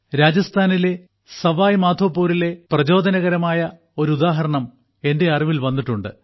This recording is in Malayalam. രാജസ്ഥാനിലെ സവായ്മാധോപൂരിലെ പ്രചോദനകരമായ ഒരു ഉദാഹരണം എന്റെ അറിവിൽ വന്നിട്ടുണ്ട്